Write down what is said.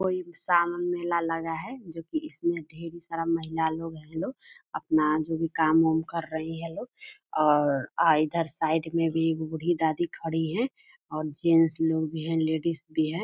सावन मेला लगा है जो की इसमें ढेर सारा महिला लोग हैं जो अपना जो भी काम उम कर रहे हैं ये लोग और आँ इधर साइड में भी बूढ़ी दादी खड़ी हैं और जेन्ट्स लोग भी हैं लेडिज भी हैं|